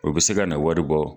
O bɛ se ka na wari bɔ.